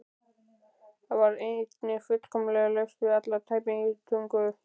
Það var einnig fullkomlega laust við alla tæpitungu.